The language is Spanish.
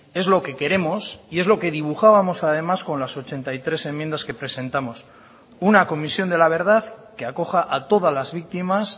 es lo que queremos y es lo que dibujábamos además con las ochenta y tres enmiendas que presentamos una comisión de la verdad que acoja a todas las víctimas